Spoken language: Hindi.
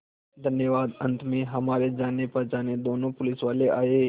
धन्यवाद अंत में हमारे जानेपहचाने दोनों पुलिसवाले आए